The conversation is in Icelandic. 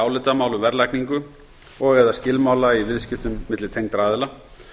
á söluhagnaði eða skilmála í viðskiptum milli tengdra aðila